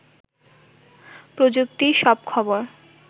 প্রযুক্তির সব খবর